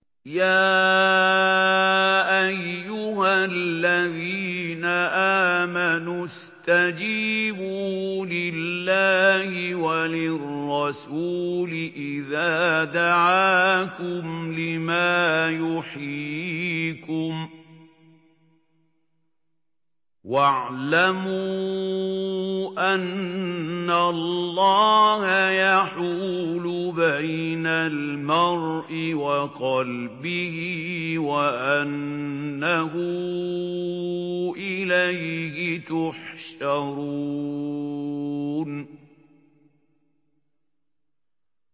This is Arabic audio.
يَا أَيُّهَا الَّذِينَ آمَنُوا اسْتَجِيبُوا لِلَّهِ وَلِلرَّسُولِ إِذَا دَعَاكُمْ لِمَا يُحْيِيكُمْ ۖ وَاعْلَمُوا أَنَّ اللَّهَ يَحُولُ بَيْنَ الْمَرْءِ وَقَلْبِهِ وَأَنَّهُ إِلَيْهِ تُحْشَرُونَ